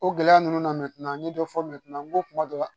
O gɛlɛya ninnu na n ye dɔ fɔ n ko kuma dɔ la